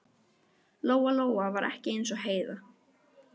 Lóa-Lóa var ekki eins og Heiða